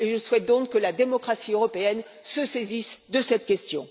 Je souhaite donc que la démocratie européenne se saisisse de cette question.